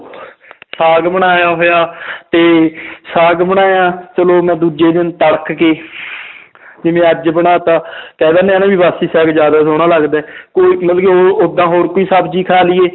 ਸਾਘ ਬਣਾਇਆ ਹੋਇਆ ਤੇ ਸਾਘ ਬਣਾਇਆ ਚਲੋ ਮੈਂ ਦੂਜੇ ਦਿਨ ਤੜਕ ਕੇ ਜਿਵੇਂ ਅੱਜ ਬਣਾ ਦਿੱਤਾ ਕਹਿ ਦਿਨੇ ਆਂ ਨਾ ਵੀ ਬਾਸੀ ਸਾਘ ਜ਼ਿਆਦਾ ਸੋਹਣਾ ਲੱਗਦਾ ਹੈ ਕੋਈ ਮਤਲਬ ਉਹ ਓਦਾਂ ਹੋਰ ਕੋਈ ਸਬਜ਼ੀ ਖਾ ਲਈਏ